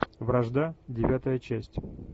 вражда девятая часть